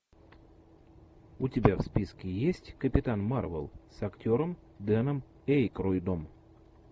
у тебя в списке есть капитан марвел с актером дэном эйкройдом